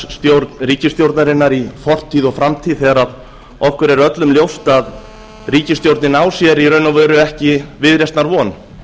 efnahagsstjórn ríkisstjórnarinnar í fortíð og framtíð þegar okkur er öllum ljóst að ríkisstjórnin á sér í raun og eru ekki viðreisnar von